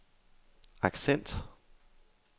accent